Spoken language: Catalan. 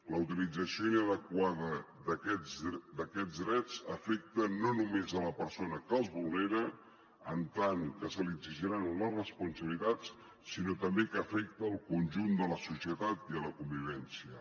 la utilització inadequada d’aquests drets afecta no només la persona que els vulnera en tant que se li n’exigiran les responsabilitats sinó que també afecta el conjunt de la societat i la convivència